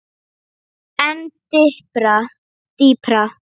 En dýpra?